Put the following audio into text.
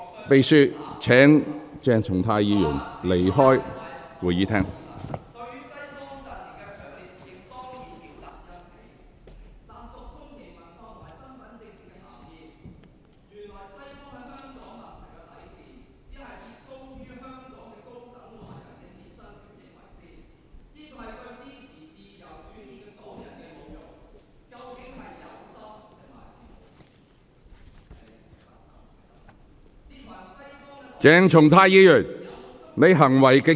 秘書，請把鄭松泰議員帶離會議廳。